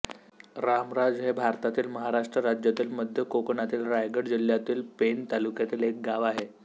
रामराज हे भारतातील महाराष्ट्र राज्यातील मध्य कोकणातील रायगड जिल्ह्यातील पेण तालुक्यातील एक गाव आहे